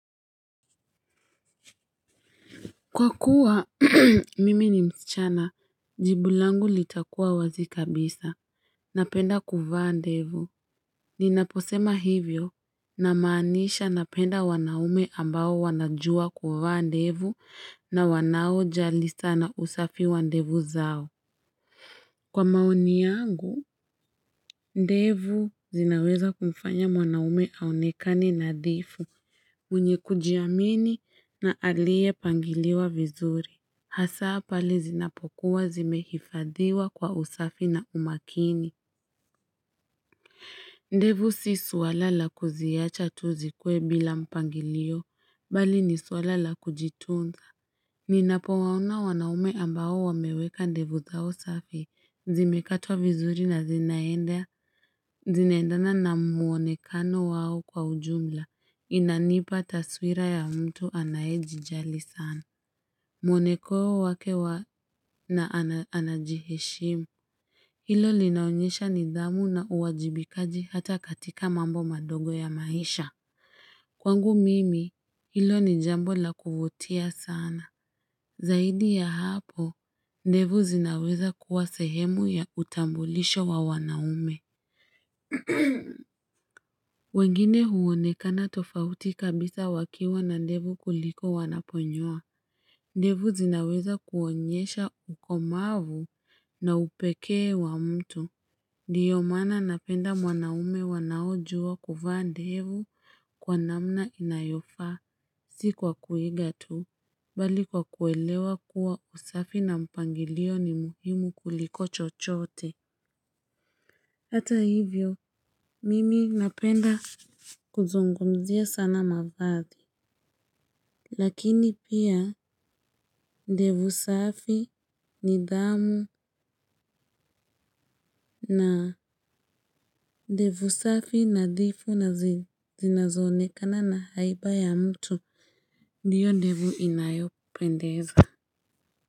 Kwa kuwa mimi ni msichana, jibu langu litakuwa wazi kabisa, napenda kuvaa ndevu. Ninaposema hivyo namaanisha napenda wanaume ambao wanajua kuvaa ndevu na wanaojali sana usafi wa ndevu zao. Kwa maoni yangu, ndevu zinaweza kumfanya mwanaume aonekane nadhifu, mwenye kujiamini na aliye pangiliwa vizuri. Hasaa pale zinapokuwa zimehifadhiwa kwa usafi na umakini. Ndevu si suala la kuziacha tu zikuwe bila mpangilio, bali ni suala la kujitunza. Ninapowaona wanaume ambao wameweka ndevu zao safi. Zimekatwa vizuri na zinaenda. Zinaendana na muonekano wao kwa ujumla. Inanipa taswira ya mtu anayejijali sana. Mwoneko wake wa na anajiheshimu, hilo linaonyesha nidhamu na uwajibikaji hata katika mambo madogo ya maisha. Kwangu mimi, hilo ni jambo la kuvutia sana. Zaidi ya hapo, ndevu zinaweza kuwa sehemu ya utambulisho wa wanaume. Wengine huonekana tofauti kabisa wakiwa na ndevu kuliko wanaponyoa. Ndevu zinaweza kuonyesha ukomavu na upekee wa mtu. Ndiyo maana napenda mwanaume wanaojua kuvaa ndevu kwa namna inayofa si kwa kuiga tu. Bali kwa kuelewa kuwa usafi na mpangilio ni muhimu kuliko chochote. Hata hivyo, mimi napenda kuzungumzia sana mavazi. Lakini pia ndevu safi nidhamu na ndevu safi nadhifu na zinazoonekana na haiba ya mtu. Ndiyo ndevu inayopendeza.